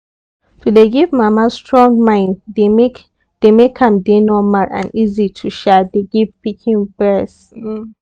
to dey give mama strong mind dey make dey make am dey normal and easy to um dey give pikin breast um